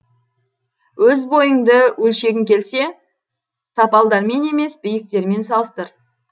өз бойыңды өлшегің келсе тапалдармен емес биіктермен салыстыр